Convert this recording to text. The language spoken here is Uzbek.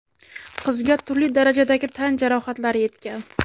Qizga turli darajadagi tan jarohatlari yetgan.